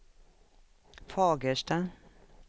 Fagersta